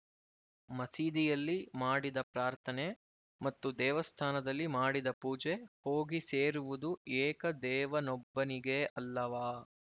ಮಸೀದಿಯಲ್ಲಿ ಮಾಡಿದ ಪ್ರಾರ್ಥನೆ ಮತ್ತು ದೇವಸ್ಥಾನದಲ್ಲಿ ಮಾಡಿದ ಪೂಜೆ ಹೋಗಿ ಸೇರುವುದು ಏಕ ದೇವನೊಬ್ಬನಿಗೇ ಅಲ್ಲವಾ